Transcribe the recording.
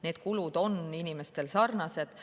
Need kulud on inimestel sarnased.